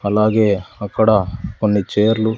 అలాగే అక్కడ కొన్ని చైర్లు .